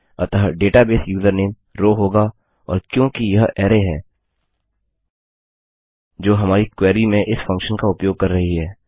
अतः database username row होगा और क्योंकि यह अरै है जो हमारी क्वेरी में इस फंक्शन का उपयोग कर रही है